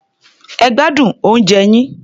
Ẹ gbádùn oúnjẹ yín.